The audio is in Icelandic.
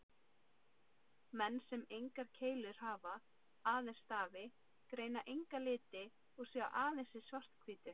Menn sem engar keilur hafa, aðeins stafi, greina enga liti og sjá aðeins í svart-hvítu.